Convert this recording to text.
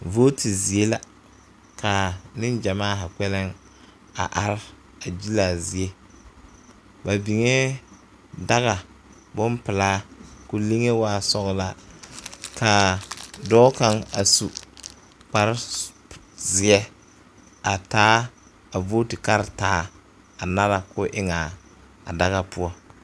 Vooti zie la ka niŋ gyamaa zaa are a gyile a zie ba biŋee daga boŋpilaa ko liŋe waa sɔglaa ka dɔɔ kaŋ a su kpare zeɛ a taa a vootu karetaa a nara koo eŋ a daga poɔ.